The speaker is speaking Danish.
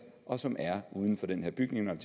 og som er uden for den her bygning når